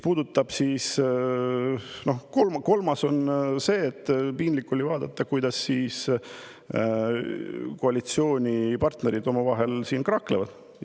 Ja piinlik oli vaadata, kuidas koalitsioonipartnerid siin omavahel kraaklevad.